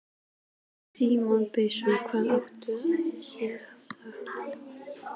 Símon Birgisson: Hvað átti sér stað?